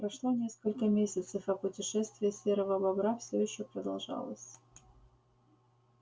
прошло несколько месяцев а путешествие серого бобра всё ещё продолжалось